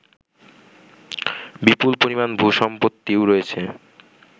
বিপুল পরিমাণ ভূ সম্পত্তিও রয়েছে